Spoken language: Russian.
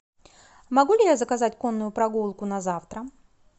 могу ли я заказать конную прогулку на завтра